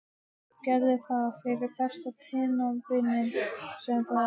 Gerðu það fyrir besta pennavininn sem þú átt.